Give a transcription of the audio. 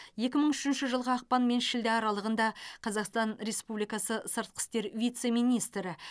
екі мың үшінші жылғы ақпан мен шілде аралығында қазақстан республикасы сыртқы істер вице министрі